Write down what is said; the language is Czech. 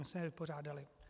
My jsme je vypořádali.